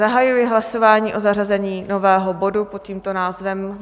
Zahajuji hlasování o zařazení nového bodu pod tímto názvem.